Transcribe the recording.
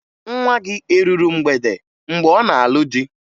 Nwa gị eruru mgbede mgbe ọ na-alụ di?